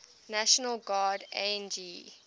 national guard ang